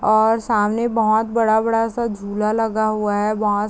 और सामने बहोत बड़ा-बड़ा सा झूला लगा हुआ है बहोत --